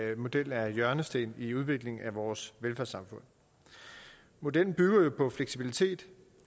at modellen er en hjørnesten i udviklingen af vores velfærdssamfund modellen bygger jo på fleksibilitet